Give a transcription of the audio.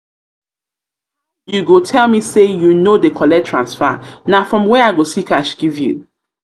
how you go tell me say you no dey you no dey collect transfer na from where i go see cash give you?